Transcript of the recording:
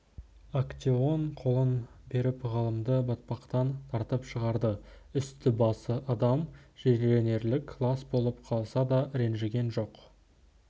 актеон қолын беріп ғалымды батпақтан тартып шығарды үсті-басы адам жиренерлік лас болып қалса да ренжіген жоқ